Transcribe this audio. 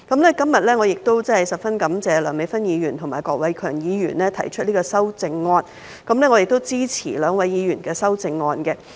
我今天十分感謝梁美芬議員和郭偉强議員提出修正案，我支持兩位議員的修正案。